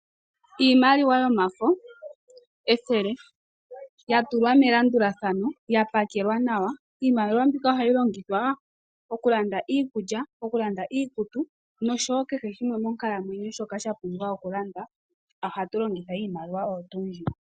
Iimaliwa yomafo, ethele, ya tulwa melandulathano, ya pakelwa nawa. Iimaliwa ohayi longithwa oku landa iikulya, oku landa iikutu nosho wo kehe shimwe monkalamwenyo sha pumbiwa oku landwa, ohatu longitha iimaliwa.